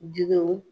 Jiw